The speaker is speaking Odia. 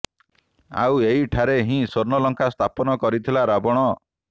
ଆଉ ଏହି ଠାରେ ହିଁ ସ୍ୱର୍ଣ୍ଣଲଙ୍କା ସ୍ଥାପନ କରିଥିଲା ରାବଣ